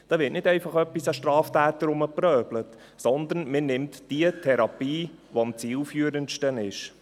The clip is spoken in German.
Da wird nicht einfach etwas an Straftätern herumprobiert, sondern man nimmt die Therapie, die am zielführendsten ist.